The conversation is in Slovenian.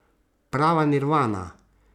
Prava nirvana.